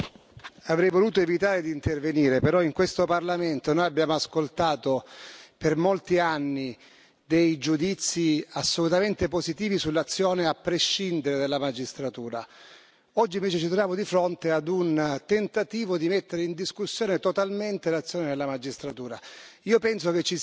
Signor Presidente, onorevoli colleghi, avrei voluto evitare di intervenire, però in questo Parlamento noi abbiamo ascoltato, per molti anni, dei giudizi assolutamente positivi sull'azione, a prescindere, della magistratura oggi invece ci troviamo di fronte a un tentativo di mettere in discussione totalmente l'azione della magistratura.